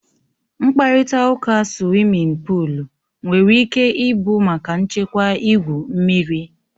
Mkparịta ụka suwimin pụụl nwere ike ịbụ maka nchekwa igwu mmiri.